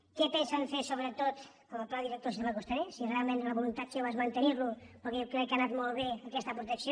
què pensen fer sobretot amb el pla director del sistema costaner si realment la voluntat seva és mantenir·lo perquè jo crec que ha anat molt bé aquesta protecció